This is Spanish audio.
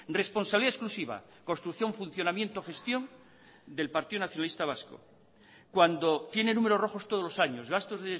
responsabilidad exclusiva construcción funcionamiento gestión del partido nacionalista vasco cuando tiene números rojos todos los años gastos